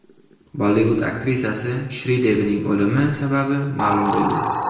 Bollivud aktrisasi Shridevining o‘limi sababi ma’lum bo‘ldi.